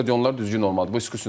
Sonra stadionlar düzgün olmalıdır.